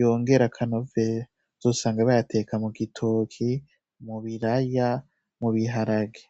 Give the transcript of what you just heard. yongere akanovera uzosanga bayateka ,mugitoke ,mubiraya no mubiharage.